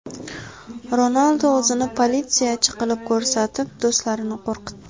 Ronaldu o‘zini politsiyachi qilib ko‘rsatib, do‘stlarini qo‘rqitdi .